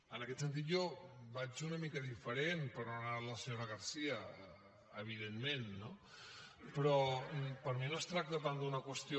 en aquest sentit jo vaig una mica diferent de per on ha anat la senyora garcía evidentment no però per mi no es tracta tant d’una qüestió